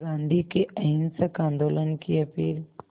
गांधी के अहिंसक आंदोलन की अपील